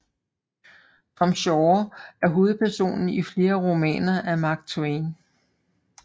Tom Sawyer er hovedperson i flere romaner af Mark Twain